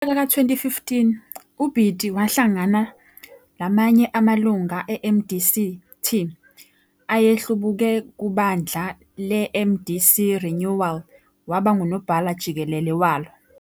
Ngomnyaka ka2015 uBiti wahlangana lamanye amalunga eMDC-T ayehlubuke kubandla leMDC-Renewal, waba ngunobhala jikelele walo.